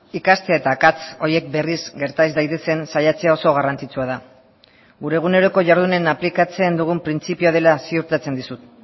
ikastea eta akats horiek berriz gerta ez daitezen saiatzea oso garrantzitsua da gure eguneroko jardunen aplikatzen dugun printzipioa dela ziurtatzen dizut